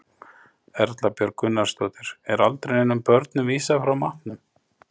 Erla Björg Gunnarsdóttir: Er aldrei neinum börnum vísað frá matnum?